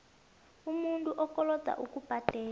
umuntu okoloda ukubhadela